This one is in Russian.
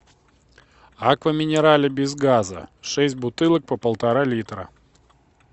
аква минерале без газа шесть бутылок по полтора литра